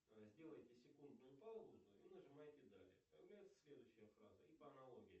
сделаете секундную паузу и нажимаете далее появляется следующая фраза и по аналогии